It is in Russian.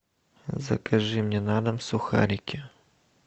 закажи мне на дом сухарики